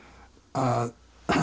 að